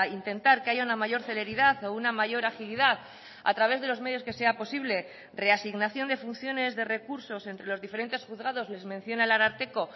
intentar que haya una mayor celeridad o una mayor agilidad a través de los medios que sea posible reasignación de funciones de recursos entre los diferentes juzgados les menciona el ararteko